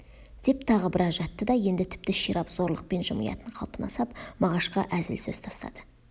деп тағы біраз жатты да енді тіпті ширап зорлықпен жымиятын қалпына сап мағашқа әзіл сөз тастады